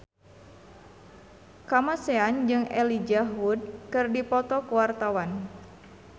Kamasean jeung Elijah Wood keur dipoto ku wartawan